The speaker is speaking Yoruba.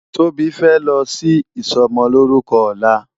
Tobi fè lò si isòmòlórùkò òlá